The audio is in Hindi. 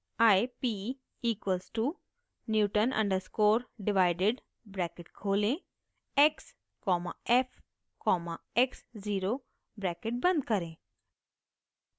i p equals to newton underscore divided bracket खोलें x comma f comma x zero bracket बंद करें